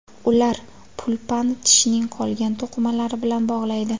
Ular pulpani tishning qolgan to‘qimalari bilan bog‘laydi.